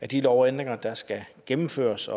de lovændringer der skal gennemføres